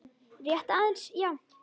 Rétt aðeins, já.